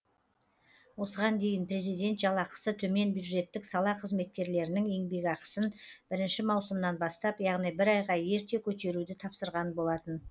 осыған дейін президент жалақысы төмен бюджеттік сала қызметкерлерінің еңбекақысын бірінші маусымнан бастап яғни бір айға ерте көтеруді тапсырған болатын